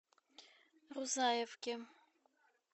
рузаевке